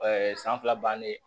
san fila bannen